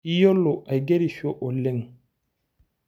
Iyiolo aigerisho oleng.